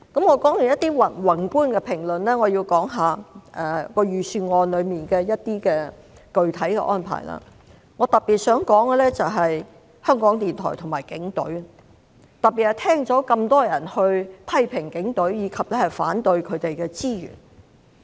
我說完一些宏觀的評論，現在想說說預算案中一些具體的安排，我特別想說的是香港電台和警隊，尤其是聽到那麼多人批評警隊及反對撥款予警隊。